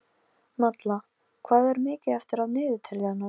Malla, hvað er mikið eftir af niðurteljaranum?